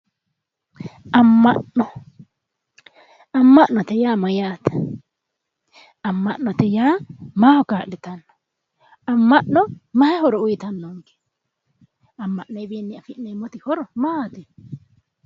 Amma'no amma'note yaa mayyaate amma'note yaa maaho kaa'litanno amma'no mayi horo uyitanno amma'noyiwiinni afi'neemmoti horo maati